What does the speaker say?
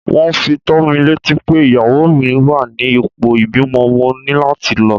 Wón fi tó mi létí pé ìyàwó mi wá ní ipò ìbímọ, mo ní láti lọ.